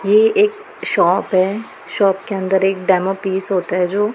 ये एक शॉप है शॉप के अंदर एक डेमो पीस होता है जो--